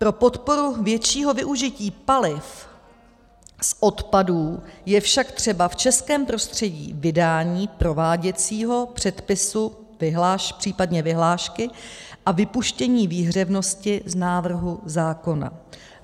Pro podporu většího využití paliv z odpadů je však třeba v českém prostředí vydání prováděcího předpisů, případně vyhlášky, a vypuštění výhřevnosti z návrhu zákona.